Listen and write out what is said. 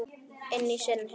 Inn í sinn heim.